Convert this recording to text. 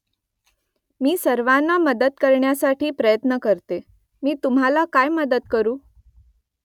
मी सर्वांना मदत करण्यासाठी प्रयत्न करते . मी तुम्हाला काय मदत करू ?